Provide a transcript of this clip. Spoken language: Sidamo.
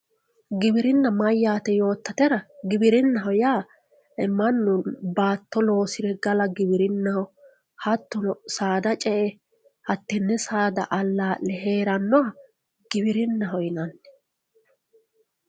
giwirina mayaate yootatera giwirinnaho yaa mannu baatto loosire gala giwirinnaho hattono saada ce'e hattenne saada alaa'le heerannoha giwirinnaho yinanni